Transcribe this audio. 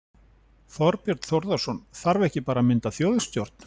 Þorbjörn Þórðarson: Þarf ekki bara að mynda þjóðstjórn?